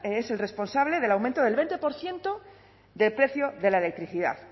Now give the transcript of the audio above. es el responsable del aumento del veinte por ciento del precio de la electricidad